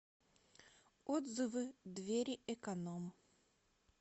отзывы двери эконом